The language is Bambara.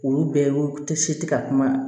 Olu bɛɛ tɛ si tɛ ka kuma